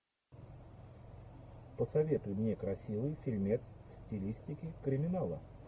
посоветуй мне красивый фильмец в стилистике криминала